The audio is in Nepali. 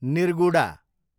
निर्गुडा